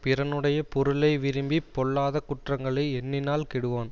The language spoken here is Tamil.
பிறனுடைய பொருளை விரும்பி பொல்லாத குற்றங்களை எண்ணினால் கெடுவான்